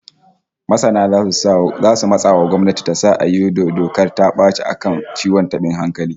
Masana zasu matsa wa gwamnati ta sa a yi dokar ta baci a kan ciwon tabin hankali